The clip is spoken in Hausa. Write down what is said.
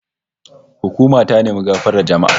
Hukuma ta nemi gafarar jama'a